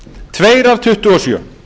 tveir af tuttugu og sjö